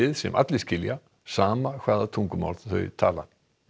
sem allir skilja sama hvaða tungumál þeir tala